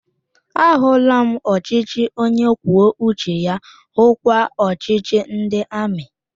A hụla m ọchịchị onye kwuo uche ya, hukwa ọchịchị ndị amị